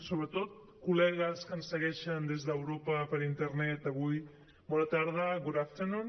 sobretot col·legues que ens segueixen des d’europa per internet avui bona tarda good afternoon